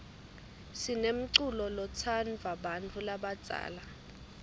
sinemculo lotsndvwa bantfu labadzala